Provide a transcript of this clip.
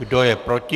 Kdo je proti?